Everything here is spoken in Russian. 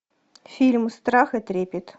фильм страх и трепет